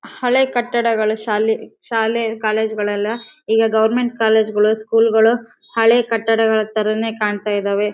ಹಳೆ ಕಟ್ಟಡ ಗಳ ಶಾಲೆ ಶಾಲೆ ಕಾಲೇಜು ಗಳೆಲ್ಲ ಈಗ ಗವರ್ನಮೆಂಟ್ ಶಾಲೆ ಗಳು ಕಾಲೇಜುಗಳು ಸ್ಕೂಲಗ ಳು ಹಳೆ ಕಟ್ಟಡ ಗಳ ತರಾನೆ ಕಾಣ್ತಾ ಇದ್ದಾವೆ.